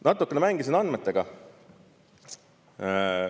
Natukene mängisin andmetega.